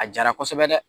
A jara kosɛbɛ dɛ